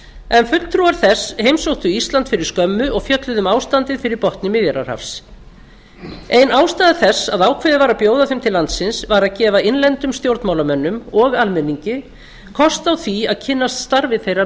en fulltrúar þess heimsóttu ísland fyrir skömmu og fjölluðu um ástandið fyrir botni miðjarðarhafs ein ástæða þess að ákveðið var að bjóða þeim til landsins var að gefa innlendum stjórnmálamönnum og almenningi kost á því að kynnast starfi þeirra